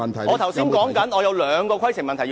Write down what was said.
我正在處理你的規程問題。